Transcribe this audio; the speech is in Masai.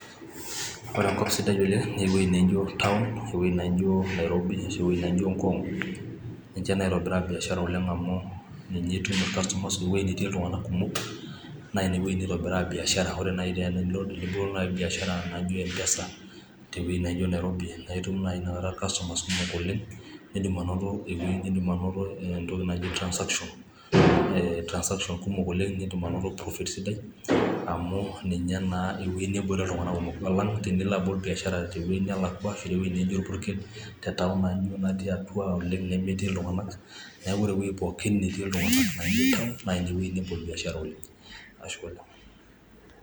ore enkop sidai oleng naa eweji naijo town , eweji naaijo nairobi, eweji naaijo ngong',niche naitobiraa esiai oleng amu ninye etii iltunganak kumok, naa ine weji naitobiraa biashara ,ore tinibol duonaaji biashara naaijo empesa teweji naaijo nairobi naa itum irkastomani kumok nidim anoto transaction ,kumok oleng' nitum anoto profit sidai amu ninye naa eweji neeti iltunganak kumok alang tinilo abol biashara teweji nelakua ashu naijo orpukel, neeku ore ewji netii iltung'anak oleng' naa ineweji nebol biashara oleng'.